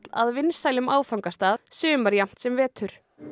að vinsælum áfangastað sumar jafnt sem vetur